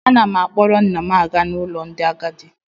Ana m akpọrọ nna m aga n'ụlọ ndị agadi